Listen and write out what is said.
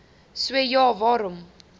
so ja waarom